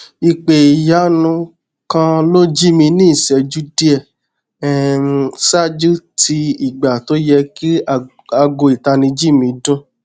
ipe iyanu kan lo ji mi ni iṣẹju diẹ um ṣáájú ti ìgbà to yẹ ki aago itaniji mi dun